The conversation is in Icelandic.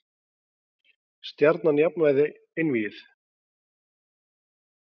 Stjarnan jafnaði einvígið